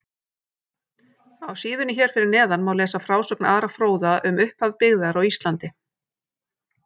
Á síðunni hér fyrir neðan má lesa frásögn Ara fróða um upphaf byggðar á Íslandi.